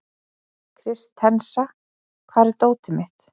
Kristensa, hvar er dótið mitt?